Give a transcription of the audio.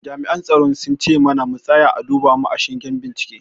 Jami'an tsaron sun ce mana mu tsaya a duba mu a shingen bincike.